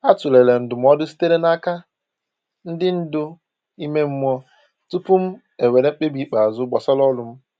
A tụlere ndụmọdụ sitere n’aka ndị ndu ime mmụọ tupu m ewere mkpebi ikpeazụ gbasara ọrụ m.